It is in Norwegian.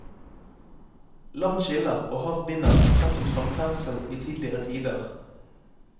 Land skiller og hav binder, er det sagt om samferdsel i tidligere tider.